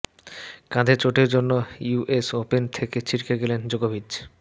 কাঁধের চোটের জন্য ইউএস ওপেন থেকে ছিটকে গেলেন জোকোভিচ